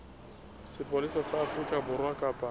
sepolesa sa afrika borwa kapa